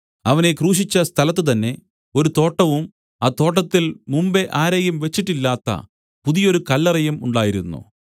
അവനെ ക്രൂശിച്ച സ്ഥലത്തുതന്നെ ഒരു തോട്ടവും ആ തോട്ടത്തിൽ മുമ്പെ ആരെയും വെച്ചിട്ടില്ലാത്ത പുതിയൊരു കല്ലറയും ഉണ്ടായിരുന്നു